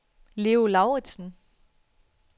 Leo Lauritzen